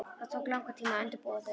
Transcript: Það tók langan tíma að undirbúa þau.